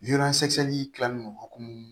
kilalen don hokumu